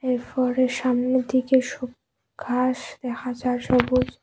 এই ফরের সামনে দিকে সু ঘাস দেখা যায় সবুজ।